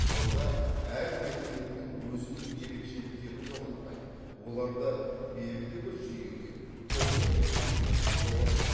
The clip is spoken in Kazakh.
сонда әр мәдениеттің өзіндік ерекшеліктерін жоғалтпай оларды белгілі бір жүйеге топқа келтіруге бола ма